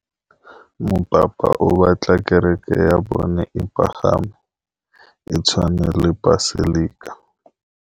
Mopapa o batla kereke ya bone e pagame, e tshwane le paselika.